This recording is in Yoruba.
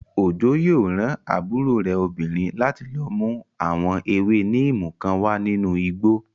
Òjó yóò rán àbúrò rẹ̀ obìnrin láti lọ mú àwọn ewé níìmù kan wá nínú igbó